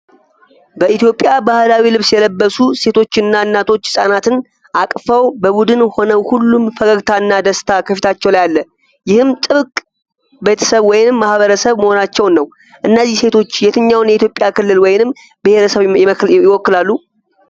በኢትዮጵያ ባህላዊ ልብስ የለበሱ ሴቶችና እናቶች ሕፃናትን አቅፈው በቡድን ሆነው ሁሉም ፈገግታና ደስታ ከፊታቸው ላይ አለ፣ ይህም ጥብቅ ቤተሰብ ወይንም ማኅበረሰብ መሆናቸውን ነው። እነዚህ ሴቶች የትኛውን የኢትዮጵያ ክልል ወይንም ብሔረሰብ ይወክላሉ?